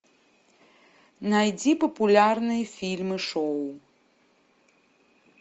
найди популярные фильмы шоу